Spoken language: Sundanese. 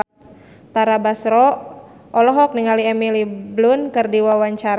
Tara Basro olohok ningali Emily Blunt keur diwawancara